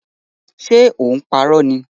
Ṣe ò ń parọ́ ni?